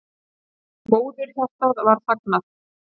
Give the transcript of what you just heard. Móðurhjartað var þagnað.